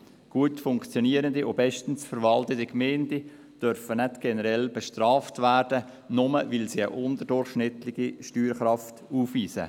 Gut funktionierende und bestens verwaltete Gemeinden dürfen nicht generell bestraft werden, nur, weil sie eine unterdurchschnittliche Steuerkraft aufweisen.